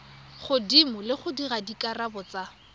godimo le gore dikarabo tsa